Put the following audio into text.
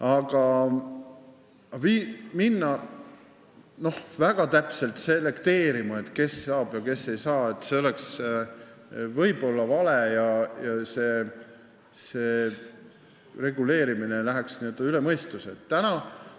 Aga vale oleks väga täpselt selekteerida, kes saab ja kes ei saa raha – see reguleerimine läheks üle mõistuse keeruliseks.